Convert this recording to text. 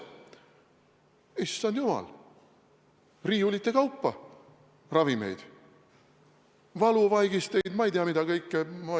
Issand jumal – riiulite kaupa ravimeid, valuvaigisteid, ma ei tea mida kõike!